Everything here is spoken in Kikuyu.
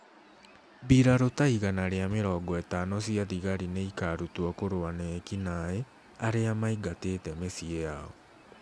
mbirarū ta 150 cia thigari nĩ ikaarutwo kũrũa na eki-naĩ arĩa maingatĩte mĩciĩ yao.